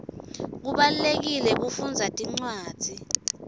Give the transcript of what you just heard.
kubalulekile kufundza tincwadzi